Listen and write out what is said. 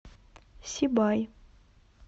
сибай